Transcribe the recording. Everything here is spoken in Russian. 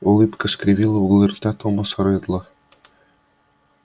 улыбка скривила углы рта томаса реддла